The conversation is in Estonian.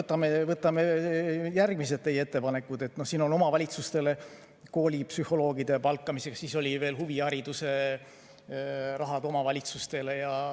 Aga võtame järgmised teie ettepanekud: siin on raha omavalitsustele koolipsühholoogide palkamiseks, siis oli veel huvihariduse raha omavalitsustele.